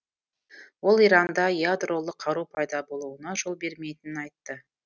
ол иранда ядролық қару пайда болуына жол бермейтінін айтты